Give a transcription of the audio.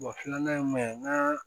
filanan ye mun ye n ka